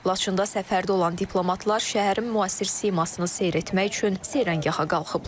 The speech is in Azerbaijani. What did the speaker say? Laçında səfərdə olan diplomatlar şəhərin müasir simasını seyr etmək üçün seyrəngaha qalxıblar.